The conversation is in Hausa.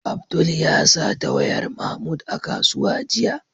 Abdul ya sata wayar Mahmud a kusuwa jiya.